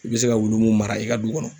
I be se ka wulu mun mara i ka du kɔnɔ